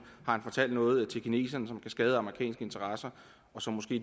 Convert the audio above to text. han fortalt noget til kineserne som kan skade amerikanske interesser og som måske